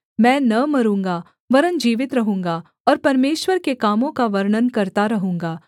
मैं न मरूँगा वरन् जीवित रहूँगा और परमेश्वर के कामों का वर्णन करता रहूँगा